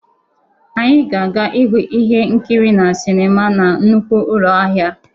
Anyị ga-aga ịhụ ihe nkiri na sinima na nnukwu ụlọ ahịa.